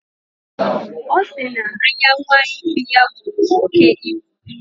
Ọ sị na anya nwa efi ya buru oke ibu.